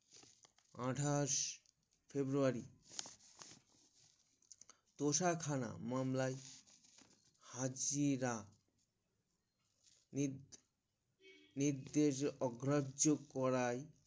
আঠাশ February তোষাখানা মামলায় হাজিরা নি নির্দেশ অগ্রজ করায়